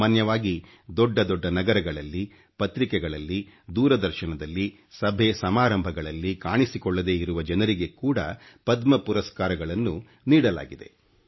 ಸಾಮಾನ್ಯವಾಗಿ ದೊಡ್ಡ ದೊಡ್ಡ ನಗರಗಳಲ್ಲಿ ಪತ್ರಿಕೆಗಳಲ್ಲಿ ದೂರದರ್ಶನದಲ್ಲಿ ಸಭೆ ಸಮಾರಂಭಗಳಲ್ಲಿ ಕಾಣಿಸಿ ಕೊಳ್ಳದೇ ಇರುವ ಜನರಿಗೆ ಕೂಡ ಪದ್ಮ ಪುರಸ್ಕಾರಗಳನ್ನು ನೀಡಲಾಗಿದೆ